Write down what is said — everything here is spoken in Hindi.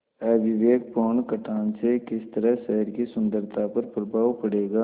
अविवेकपूर्ण कटान से किस तरह शहर की सुन्दरता पर प्रभाव पड़ेगा